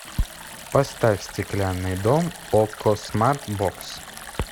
поставь стеклянный дом окко смарт бокс